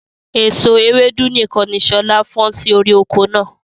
Èso Ewédú nìkan ni sọlá fọn sì orí oko náà.